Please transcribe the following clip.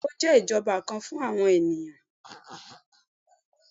Bẹ́ẹ̀ni, o jẹ ijọba kan fun awọn eniyan